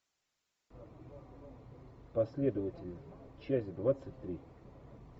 последователи часть двадцать три